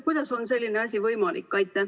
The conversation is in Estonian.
Kuidas on selline asi võimalik?